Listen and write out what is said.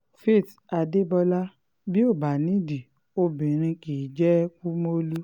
faith adébọlá bí ó bá nídìí obìnrin kì í jẹ́ kumolu